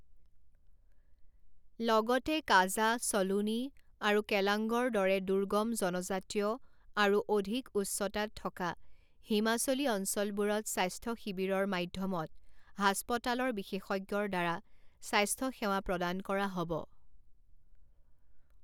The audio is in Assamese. লগতে, কাজা, সলূনী আৰু কেলাংগৰ দৰে দুৰ্গম জনজাতীয় আৰু অধিক উচ্চতাত থকা হিমাচলী অঞ্চলবোৰত স্বাস্থ্য শিবিৰৰ মাধ্যমত হাস্পতালৰ বিশেষজ্ঞৰ দ্বাৰা স্বাস্থ্য সেৱা প্ৰদান কৰা হ’ব ।